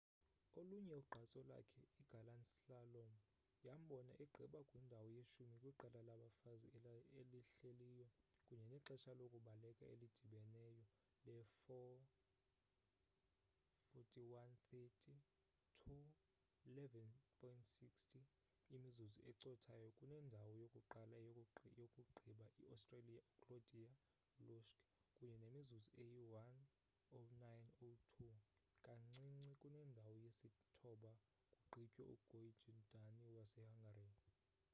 olunye ugqatso lakhe igalant slalom yambona egqiba kwindawo yeshumi kwiqela labafazi elihleliyo kunye nexesha lokubaleka elidibeneyo le-4: 41.30 2: 11.60 imizuzu ecothayo kunendawo yokuqala yokugqiba iaustria uclaudia loesch kunye nemizuzu eyi-1: 09.02 kancinci kunendawo yesithoba kugqitywe ugyöngyi dani wasehungary